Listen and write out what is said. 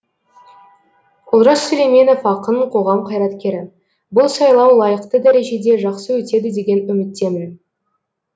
олжас сүлейменов ақын қоғам қайраткері бұл сайлау лайықты дәрежеде жақсы өтеді деген үміттемін